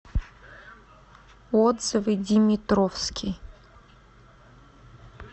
отзывы димитровский